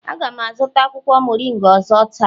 A ga m azụta akwụkwọ moringa ọzọ taa